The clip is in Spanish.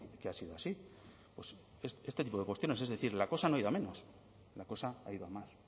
que ha sido así este tipo de cuestiones es decir la cosa no ha ido a menos la cosa ha ido a más